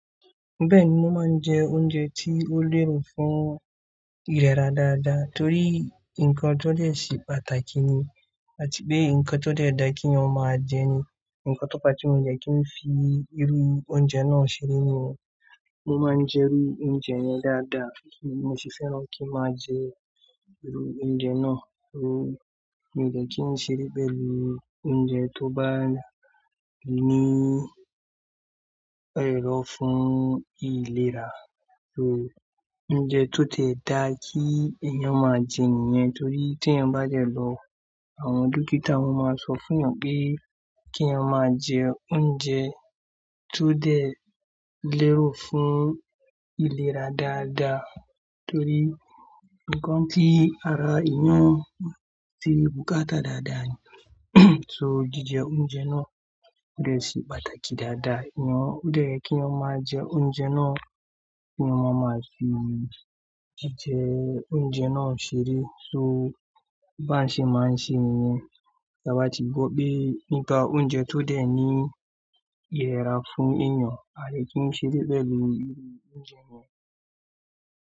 Bẹ́ẹ̀ni, mo máa ń jẹ oúnjẹ tí ó lérò fún ìlera dáadáa torí nǹkan tó dẹ̀ ṣì pàtàkì ni àti pé nǹkan tó dẹ̀ dá kí wọn máa jẹ ni. Ǹkan tó pa tí mo jẹ kí ń fi irú oúnjẹ náà ṣeré ni wọ́n máa ń jẹ irú oúnjẹ náà dáadáa. Mo sì fẹ́ràn kí n máa jẹ irú oúnjẹ náà. So mi dẹ̀ kí ń ṣeré bẹ́ẹ̀ lórí oúnjẹ tó bá ní ẹ̀rọ̀ fún ìlera. So oúnjẹ tó tẹ̀ dá kí èèyàn máa jẹ níyẹn torí tí èèyàn bá jẹ lọ, àwọn dókítà máa sọ fún wọn pé kí èèyàn máa jẹ oúnjẹ tó dẹ̀ lérò fún ìlera dáadáa torí nǹkan tí ara èèyàn sì bùkátà dáadáa ni. So jíjẹ oúnjẹ náà dẹ̀ sì pàtàkì dáadáa. Ǹjẹ́ kí èèyàn máa jẹ oúnjẹ náà kí wọ́n máa sì jíjẹ oúnjẹ náà ṣeré. So bá ń ṣe máa ń ṣe nìyẹn. Tí a bá ti gbọ́ pé nípa oúnjẹ tó dẹ̀ ní ìlera fún èèyàn, a dẹ̀ kí ń ṣeré pẹ̀lú irú oúnjẹ yẹn.